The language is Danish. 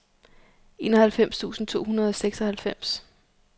enoghalvfems tusind to hundrede og seksoghalvfems